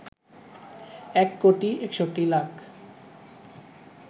১ crore ৬১ lakh